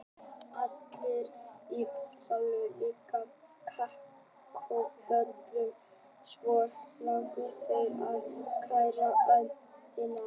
Allir í salnum lyftu kakóbollunum og svo skáluðu þeir fyrir gæfuríkum ferðum um jörðina.